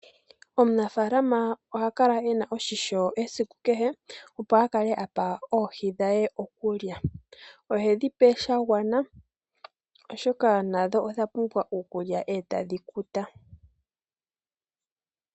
Omunafaalama ohakala ene oshimpwiyu esiku kehe opo a kale apa oohi okulya. Ohedhi pe shagwana oshoka nadho odhapumbwa okulya e tadhi kuta.